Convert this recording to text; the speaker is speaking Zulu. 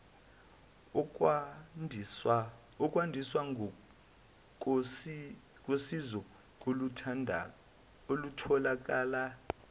ukwandiswa kosizo olutholakala